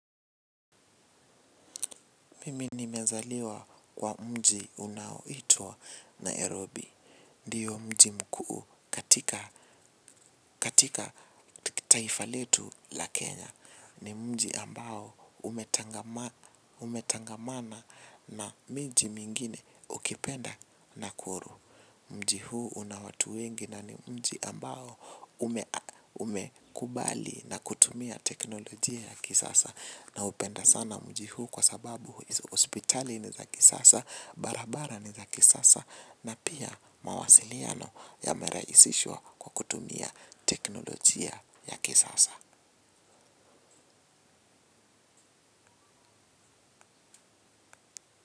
Mimi nimezaliwa kwa mji unaoitwa Nairobi. Ndiyo mji mkuu katika taifa letu la Kenya. Ni mji ambao umetangamana na miji mingine ukipenda nakuru. Mji huu una watu wengi na ni mji ambao umekubali na kutumia teknolojia ya kisasa. Naupenda sana mji huu kwa sababu hospitali ni za kisasa, barabara ni za kisasa na pia mawasiliano yamerahisishwa kwa kutumia teknolojia ya kisasa.